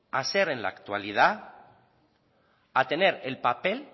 a ser en la actualidad a tener el papel